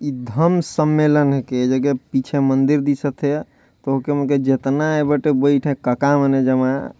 ए धम्म सम्मेलन के जगह पीछे मंदिर दिखा थे तोके मन के जतने मने बईथे कका मने जमे--